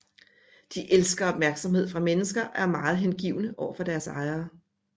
De elsker opmærksomhed fra mennesker og er meget hengivne overfor deres ejere